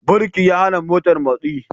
Birki ya hana motar motsi.